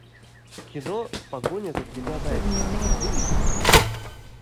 кино погоня за тремя зайцами выведи мне